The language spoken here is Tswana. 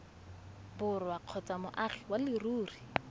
borwa kgotsa moagi wa leruri